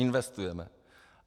Investujeme!